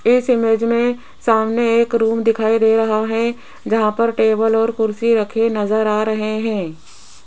इस इमेज मे सामने एक रूम दिखाई दे रहा है जहां पर टेबल और कुर्सी रखे नजर आ रहे हैं।